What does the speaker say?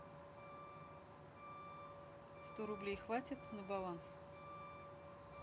сто рублей хватит на баланс